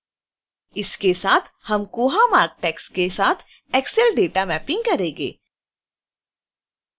इसके साथ हम koha marc tags के साथ excel dataमैपिंग करेंगे